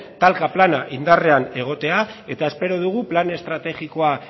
talka plana indarrean egotea eta espero dugu plan estrategikoa